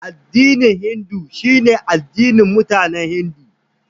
Addinin Hindu shine addinin mutanen Hindu.